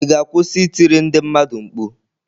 Ị ga-akwụsị ị tiri ndị mmadụ mkpu?